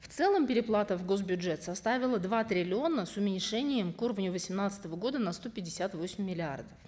в целом переплата в гос бюджет составила два триллиона с уменьшением к уровню восемнадцатого года на сто пятьдесят восемь миллиардов